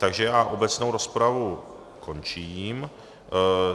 Takže já obecnou rozpravu končím.